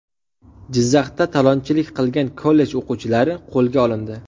Jizzaxda talonchilik qilgan kollej o‘quvchilari qo‘lga olindi.